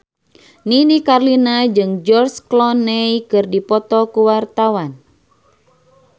Nini Carlina jeung George Clooney keur dipoto ku wartawan